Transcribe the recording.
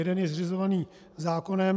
Jeden je zřizovaný zákonem.